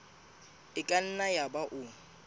e ka nna yaba o